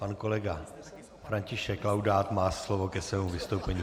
Pan kolega František Laudát má slovo ke svému vystoupení.